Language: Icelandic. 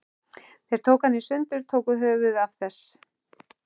Þeir tóku hana í sundur. tóku höfuðið af þess